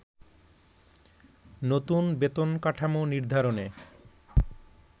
নতুন বেতন কাঠামো নির্ধারণে